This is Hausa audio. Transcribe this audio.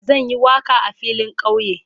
Zan yi waka a filin kauye.